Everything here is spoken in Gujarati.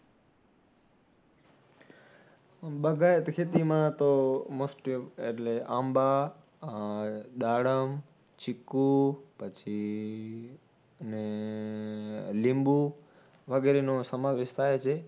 બાગાયતી ખેતીમાં તો most of એટલે આંબા, દાડમ, ચીકુ પછી અને લીંબુ વગેરે નો સમાવેશ થાય છે